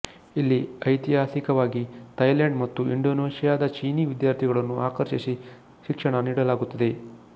ಇಲ್ಲಿ ಐತಿಹಾಸಿಕವಾಗಿ ಥೈಲೆಂಡ್ ಮತ್ತು ಇಂಡೊನೇಶಿಯಾದ ಚೀನಿ ವಿದ್ಯಾರ್ಥಿಗಳನ್ನು ಆಕರ್ಷಿಸಿ ಶಿಕ್ಷಣ ನೀಡಲಾಗುತ್ತದೆ